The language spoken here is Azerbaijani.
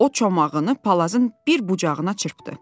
O çomağını palazın bir bucağına çırpdı.